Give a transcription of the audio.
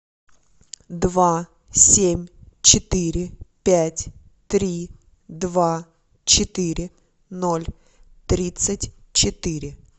два семь четыре пять три два четыре ноль тридцать четыре